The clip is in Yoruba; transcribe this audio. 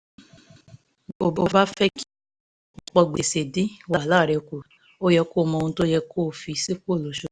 ìmúlọ owó sàn owó ojoojúmọ́ ràn mí lọ́wọ́ láti túbọ̀ ní igbẹ́kẹ̀lé lórí ipinnu ináwó